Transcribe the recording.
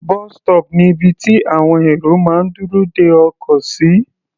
Bus stop ni ibi tí àwọn èrò máa ń dúró de ọkọ̀ sí.